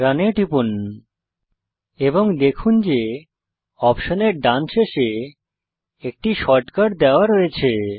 run এ টিপুন এবং দেখুন যে অপশন এর ডান শেষে একটি শর্টকাট দেওয়া রয়েছে